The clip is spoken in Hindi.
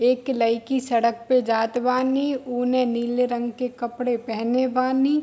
एक लइकी सड़क पे जात बानी उने नीले रंग के कपड़े पहने बानी।